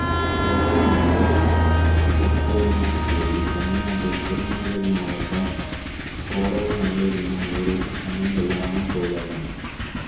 கோடகநல்லூர் துர்க்கையம்மன் கோயில் தமிழ்நாட்டில் திருநெல்வேலி மாவட்டம் கோடகநல்லூர் என்னும் ஊரில் அமைந்துள்ள அம்மன் கோயிலாகும்